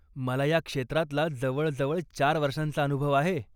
मला ह्या क्षेत्रातला जवळजवळ चार वर्षांचा अनुभव आहे.